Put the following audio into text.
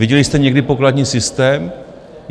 Viděli jste někdy pokladní systém?